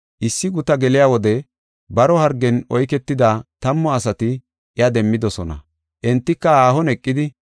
Issi gutaa geliya wode baro hargen oyketida tammu asati iya demmidosona. Entika haahon eqidi,